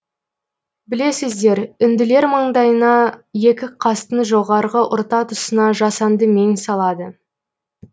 білесіздер үнділер маңдайына екі қастың жоғарғы ортатұсына жасанды мең салады